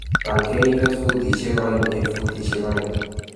Bal keringet futishek oeng eng futishek oeng